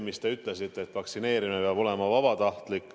Te ütlesite, et vaktsineerimine peab olema vabatahtlik.